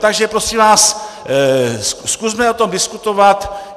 Takže prosím vás, zkusme o tom diskutovat.